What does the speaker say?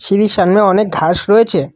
ছিরির সামনে অনেক ঘাস রয়েছে।